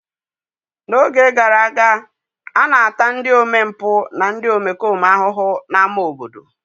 N'oge gara aga, a na-ata ndị omempụ na ndị omekome ahụhụ n'ámá obodo.